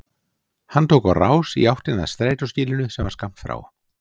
Hann tók á rás í áttina að strætóskýlinu sem var skammt frá.